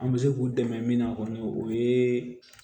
An bɛ se k'u dɛmɛ min na kɔni o ye